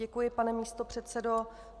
Děkuji, pane místopředsedo.